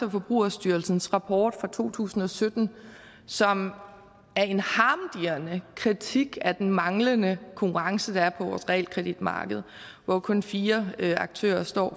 og forbrugerstyrelsens rapport fra to tusind og sytten som er en harmdirrende kritik af den manglende konkurrence der er på vores realkreditmarkedet hvor kun fire aktører står